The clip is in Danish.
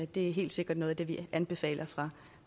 det er helt sikkert noget af det vi anbefaler